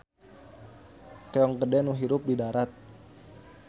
Keong gede nu hirup di darat.